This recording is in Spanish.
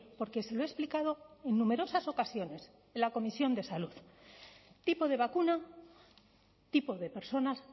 porque se lo he explicado en numerosas ocasiones en la comisión de salud tipo de vacuna tipo de personas